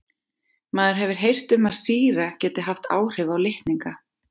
Maður hefur heyrt um að sýra geti haft áhrif á litninga.